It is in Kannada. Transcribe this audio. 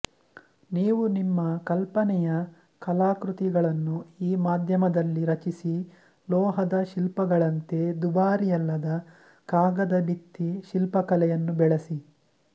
ನೀವು ನಿಮ್ಮ ಕಲ್ಪನೆಯ ಕಲಾಕೃತಿಗಳನ್ನು ಈ ಮಾಧ್ಯಮದಲ್ಲಿ ರಚಿಸಿ ಲೋಹದ ಶಿಲ್ಪಗಳಂತೆ ದುಬಾರಿಯಲ್ಲದ ಕಾಗದ ಭಿತ್ತಿ ಶಿಲ್ಪಕಲೆಯನ್ನು ಬೆಳಸಿ